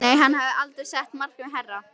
Nei, hann hafði aldrei sett markið hærra.